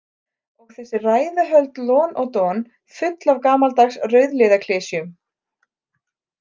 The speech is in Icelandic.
Og þessi ræðuhöld lon og don full af gamaldags rauðliðaklisjum.